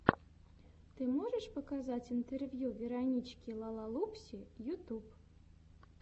ты можешь показать интервью веронички лалалупси ютюб